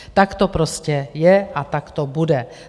Tak to prostě je a tak to bude.